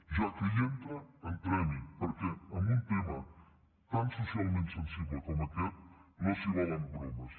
ja que hi entra entremhi perquè en un tema tan socialment sensible com aquest no s’hi valen bromes